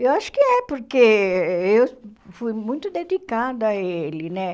Eu acho que é, porque eu fui muito dedicada a ele, né?